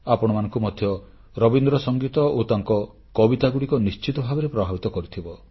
ଆପଣମାନଙ୍କୁ ମଧ୍ୟ ରବୀନ୍ଦ୍ର ସଂଗୀତ ଓ ତାଙ୍କ କବିତାଗୁଡ଼ିକ ନିଶ୍ଚିତ ଭାବରେ ପ୍ରଭାବିତ କରିଥିବ